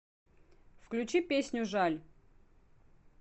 включи песню жаль